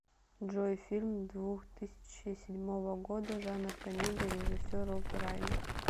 джой фильм двух тысячи седьмого года жанр комедия режисер роб райнер